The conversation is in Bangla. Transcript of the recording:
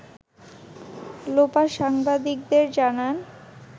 লোপা সাংবাদিকদের জানান